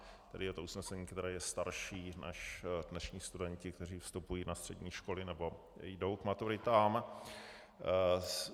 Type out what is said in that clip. Tedy je to usnesení, které je starší než dnešní studenti, kteří vstupují na střední školy nebo jdou k maturitám.